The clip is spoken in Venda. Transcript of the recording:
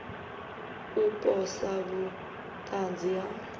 u posa vhut anzi ha